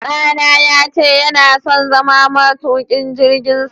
Ɗa na ya ce yana son zama matuƙin jirgin sama.